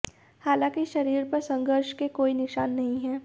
हालांकि शरीर पर संघर्ष के कोई निशान नहीं हैं